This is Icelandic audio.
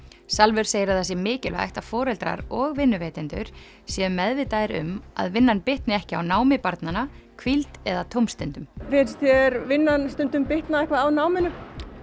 Salvör segir að það sé mikilvægt að foreldrar og vinnuveitendur séu meðvitaðir um að vinnan bitni ekki á námi barnanna hvíld eða tómstundum finnst þér vinnan stundum bitna eitthvað á náminu